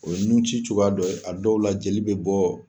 O ye nun ci cogoya dɔ, a dɔw la jeli be bɔ